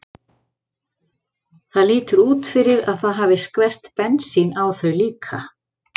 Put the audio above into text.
Það lítur út fyrir að það hafi skvest bensín á þau líka.